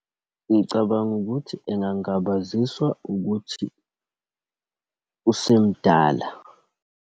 Ngicabanga ukuthi engangabaziswa ukuthi usemdala.